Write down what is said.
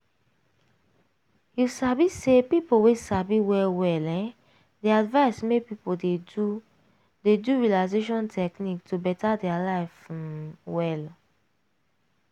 you sabi say people wey sabi well well um dey advise make people dey do dey do relaxation technique to beta their life um well.